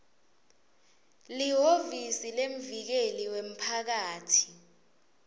lihhovisi lemvikeli wemphakatsi